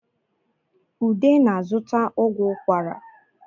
Ude na-zụta ọgwụ ukwara